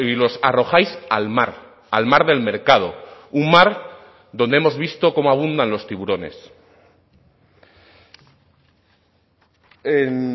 los arrojáis al mar al mar del mercado un mar donde hemos visto cómo abundan los tiburones en